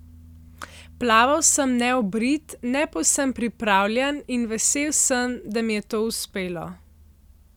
Plaval sem neobrit, ne povsem pripravljen in vesel sem, da mi je to uspelo.